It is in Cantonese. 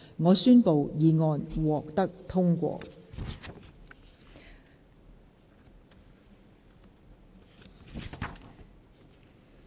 我宣布議案獲得通過。